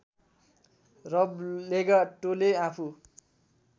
रब लेगाटोले आफू